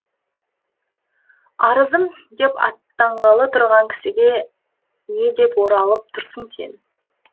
арызым деп аттанғалы тұрған кісіге не деп оралып тұрсың сен